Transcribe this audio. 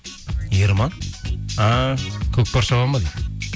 ерман а көкпар шабады ма дейді